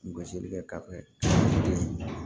Gosilikɛ ka di ye